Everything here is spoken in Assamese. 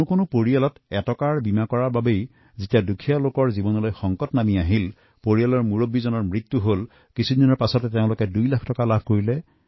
কোনো পৰিয়ালে এই দুখীয়া লোকসকলক যেতিয়া সংকটত পৰিছেপৰিয়ালৰ মুৰব্বীৰ মৃত্যু হৈছে সেই একেটা প্ৰিমিয়ামৰ সুফল দুই লাখ টকা পাইছে